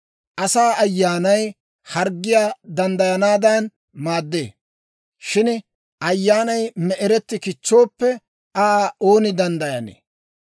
Asaa ayyaanay harggiyaa danddayanaadan maaddee; shin ayyaanay me"eretti kichchooppe, Aa ooni danddayanee?